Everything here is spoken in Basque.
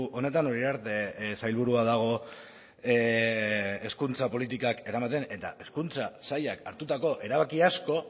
honetan uriarte sailburua dago hezkuntza politikak eramaten eta hezkuntza sailak hartutako erabaki asko